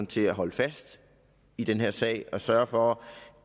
til at holde fast i den her sag og sørge for